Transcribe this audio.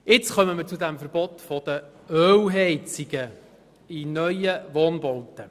Jetzt kommen wir zum Verbot der Ölheizungen in neuen Wohnbauten.